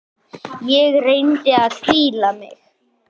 Ég reyni að hvíla mig.